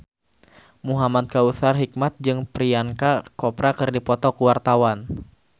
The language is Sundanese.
Muhamad Kautsar Hikmat jeung Priyanka Chopra keur dipoto ku wartawan